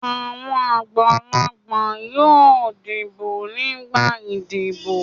Àwọn àgbàlagbà yóò dìbò nígbà ìdìbò.